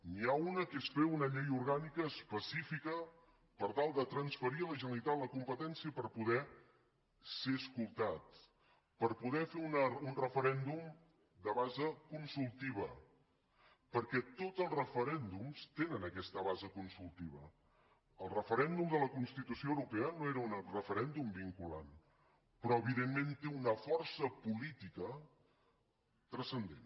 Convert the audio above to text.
n’hi una que és fer una llei orgànica específica per tal de transferir a la generalitat la competència per poder ser escoltat per poder fer un referèndum de base consultiva perquè tots els referèndums tenen aquesta base consultiva el referèndum de la constitució europea no era un referèndum vinculant però evidentment té una força política transcendent